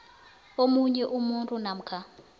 omunye umuntu namkha